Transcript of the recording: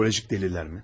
Psixolojik dəlillər mi?